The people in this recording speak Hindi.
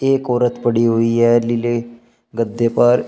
एक औरत पड़ी हुई है नीले गद्दे पर।